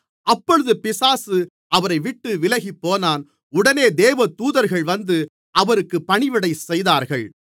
அப்பொழுது பிசாசு அவரைவிட்டு விலகிப்போனான் உடனே தேவதூதர்கள் வந்து அவருக்கு பணிவிடை செய்தார்கள்